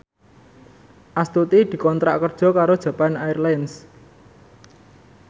Astuti dikontrak kerja karo Japan Airlines